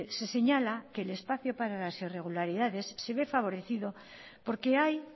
se señala que el espacio para las irregularidades se ve favorecido porque hay